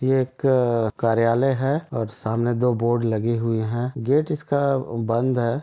यह एक कार्यालय है और सामने दो बोर्ड लगे हुए है गेट इसका बंद है।